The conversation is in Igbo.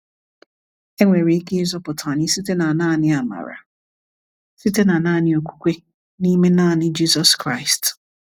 E nwere ike ịzọpụta anyi site na naani amara, site na naani okwukwe, n’ime naani Jizọs Kraịst.